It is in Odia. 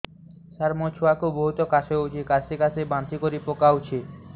ସାର ମୋ ଛୁଆ କୁ ବହୁତ କାଶ ହଉଛି କାସି କାସି ବାନ୍ତି କରି ପକାଉଛି